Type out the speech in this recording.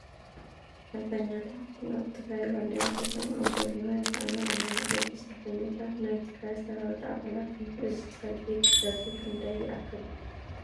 ሰልፈኛታት ናይ ትግራይ ባንዲራ ሒዞም ኣብ ጐደና ይርአዩ ኣለዊ፡፡ እዞ ሰልፈኛታት ናይ ትግራይ ሰራዊት ኣባላት እዮም፡፡ እዚ ሰልፊ ክብደቱ ክንደይ ይኣክል?